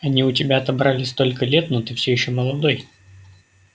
они у тебя отобрали столько лет но ты всё ещё молодой